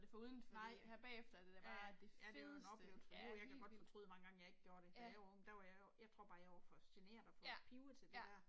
Nej. Ja. Ja det er jo en oplevelse for livet jeg kan godt fortryde mange gange jeg ikke gjorde det da jeg var ung der var jeg jo, jeg tror bare jeg var for genert og for pivet til det der